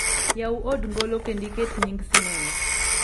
yawu od ngolo kendo iket nying sinema